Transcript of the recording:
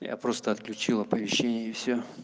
я просто отключил оповещение и всё